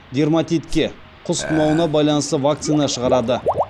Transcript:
дерматитке құс тұмауына байланысты вакцина шығарады